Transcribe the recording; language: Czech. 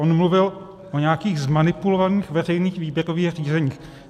On mluvil o nějakých zmanipulovaných veřejných výběrových řízeních.